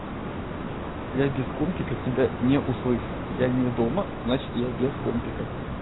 я без компика тебя не услышу я не дома значит я без компика